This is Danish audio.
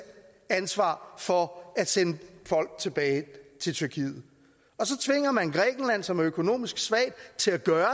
ansvar for at sende folk tilbage til tyrkiet og som er økonomisk svag til at gøre